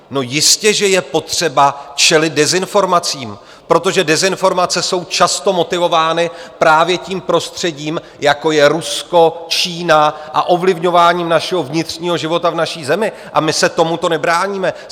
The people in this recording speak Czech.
No jistě že je potřeba čelit dezinformacím, protože dezinformace jsou často motivovány právě tím prostředím, jako je Rusko, Čína, a ovlivňováním našeho vnitřního života v naší zemi, a my se tomuto nebráníme.